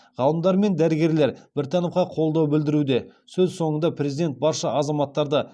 ғалымдар мен дәрігерлер біртановқа қолдау білдіруде сөз соңында президент барша азаматтарды